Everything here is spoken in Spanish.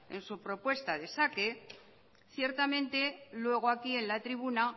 en su propuesta de saque ciertamente luego aquí en la tribuna